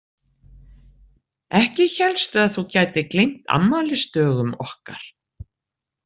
Ekki hélstu að þú gætir gleymt afmælisdögum okkar?